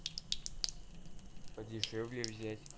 подешевле взять